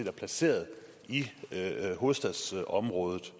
er placeret i hovedstadsområdet